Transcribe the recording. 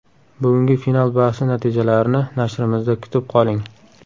Bugungi final bahsi natijalarini nashrimizda kutib qoling.